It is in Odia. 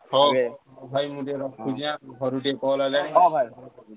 ହଉ ଭାଇ ମୁଁ ଟିକେ ରଖୁଛି ଏଁ ଘରୁ ଟିକେ call ଆଇଲାଣି